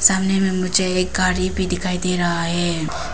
सामने में मुझे एक गाड़ी भी दिखाई दे रहा है।